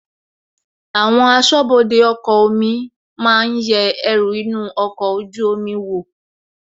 Àwọn asọ́bọdè ọkọ̀ omi máa yẹ ẹrù inú ọkọ̀ ojú omi wò,